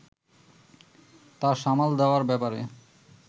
তা সামাল দেওয়ার ব্যাপারে